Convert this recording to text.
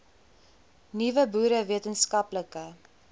nuwe boere wetenskaplike